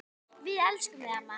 Við elskum þig amma.